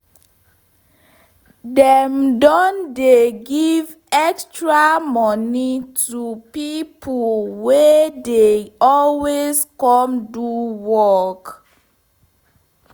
dem don dey give extra moni to pipo wey dey always come do work